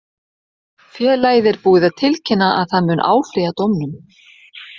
Félagið er búið að tilkynna að það mun áfrýja dómnum.